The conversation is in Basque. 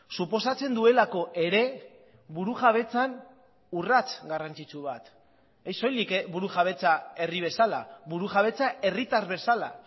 suposatzen duelako ere burujabetzan urrats garrantzitsu bat ez soilik burujabetza herri bezala burujabetza herritar bezala